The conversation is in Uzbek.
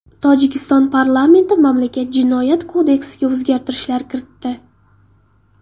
Tojikiston parlamenti mamlakat Jinoyat kodeksiga o‘zgartishlar kiritdi.